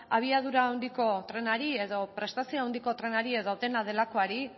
abiadura handiko trenari edo prestazio handiko trenari edo dena delakoari